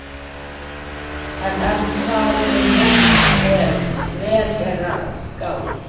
En er það nú rétt ef vel er að gáð?